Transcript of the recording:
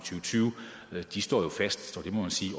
tyve står jo fast